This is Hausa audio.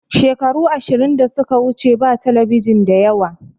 Shekaru ashirin da suka wuce ba talabijin da yawa